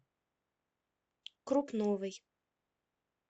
крупновой